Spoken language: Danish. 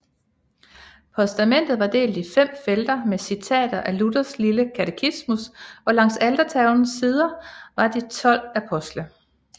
Postamentet var delt i fem felter med citater af Luthers lille katetismus og langs altertavlens sider var de 12 apostle